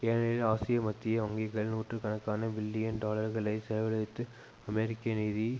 ஏனெனில் ஆசிய மத்திய வங்கிகள் நூற்று கணக்கான பில்லியன் டாலர்களைச் செலவழித்து அமெரிக்க நிதி